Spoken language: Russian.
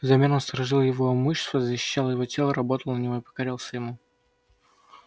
взамен он сторожил его имущество защищал его тело работал на него и покорялся ему